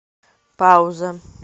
пауза